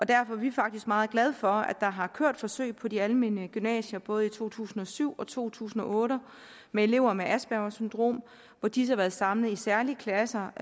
derfor er vi faktisk meget glade for at der har kørt forsøg på de almene gymnasier både i to tusind og syv og to tusind og otte med elever med aspergers syndrom hvor disse har været samlet i særlige klasser